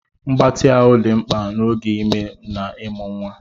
Mgbatị ahụ dị mkpa n'oge ime na ịmụ nwa.